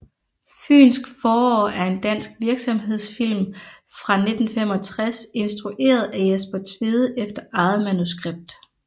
Fynsk forår er en dansk virksomhedsfilm fra 1965 instrueret af Jesper Tvede efter eget manuskript